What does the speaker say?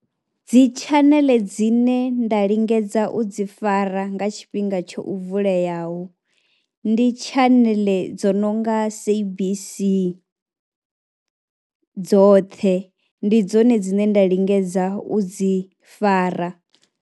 Dzi tshaneḽe dzine nda lingedza u dzi fara nga tshifhinga tsho u vuleaho ndi tshaneḽe dzo no nga SABC dzoṱhe. Ndi dzone dzine nda lingedza u dzi fara.